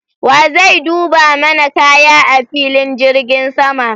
Wa zai duba mana kaya a filin jirgin sama?